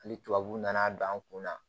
Hali tubabuw nana don an kun na